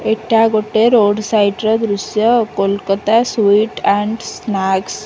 ଏଇଟା ଗୋଟେ road side ର ଦୃଶ୍ୟ କୋଲକତା ସୁଇଟ୍ ଆଣ୍ଡ ସ୍ନାକ୍ସ ।